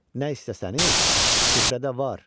Nə istəsəniz süfrədə var.